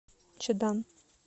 чадан